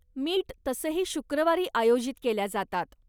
Meet तसंही शुक्रवारी आयोजित केल्या जातात.